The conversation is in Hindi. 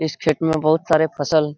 इस खेत में बहुत सरे फसल --